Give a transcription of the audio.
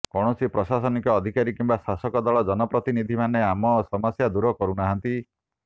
କୌଣସି ପ୍ରଶାସନିକ ଅଧିକାରୀ କିମ୍ବା ଶାସକ ଦଳ ଜନପ୍ରତିନିଧି ମାନେ ଆମ ସମସ୍ୟା ଦୂର କରୁନାହାନ୍ତି